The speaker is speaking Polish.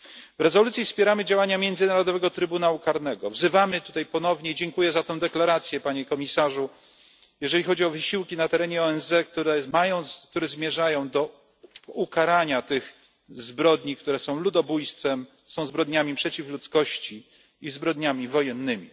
W rezolucji wspieramy działania Międzynarodowego Trybunału Karnego. Wzywamy tutaj ponownie dziękuję za tę deklarację Panie Komisarzu jeżeli chodzi o wysiłki na terenie ONZ, które zmierzają do ukarania tych zbrodni, które są ludobójstwem, są zbrodniami przeciw ludzkości i zbrodniami wojennymi.